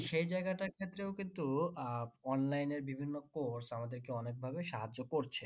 সেই জায়গাটার ক্ষেত্রেও কিন্তু আহ online এর বিভিন্ন course আমাদেরকে অনেক ভাবে সাহায্য করছে।